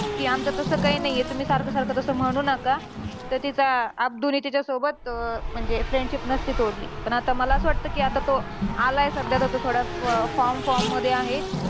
कि आमचं तसं काय नाहीये. तुम्ही सारखं-सारखं तसं म्हणू नका. तर तिचा अब्दूने तिच्यासोबत अं म्हणजे friendship नसती तोडली. पण आता मला असं वाटतं कि आता तो आलाय सध्या तर थोडा अं form form मध्ये आहे.